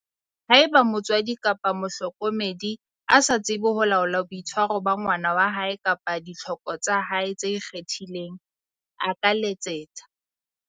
Haeba motswadi kapa mohlokomedi a sa tsebe ho laola boitshwaro ba ngwana wa hae kapa ditlhoko tsa hae tse ikgethileng, a ka letsetsa.